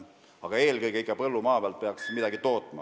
Aga eelkõige peaks põllumaa ikka midagi tootma.